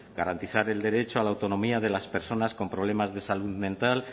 garantizar el derecho a la autonomía de las personas con problemas de salud mental